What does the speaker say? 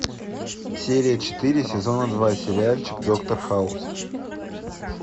серия четыре сезона два сериальчик доктор хаус